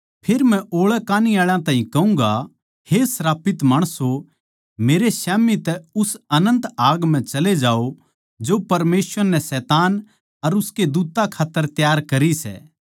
फेर मै ओळै कान्ही आळा ताहीं कहूँगा हे श्रापित माणसों मेरै स्याम्ही तै उस अनन्त आग म्ह चले जाओ जो परमेसवर नै शैतान अर उसके दूत्तां खात्तर त्यार करी सै